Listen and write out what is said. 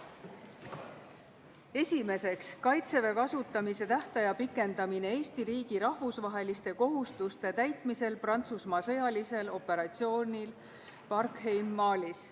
Esimeseks, Kaitseväe kasutamise tähtaja pikendamine Eesti riigi rahvusvaheliste kohustuste täitmisel Prantsusmaa sõjalisel operatsioonil Barkhane Malis.